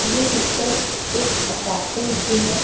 ये पिक्चर एक अपार्टमेंट की है।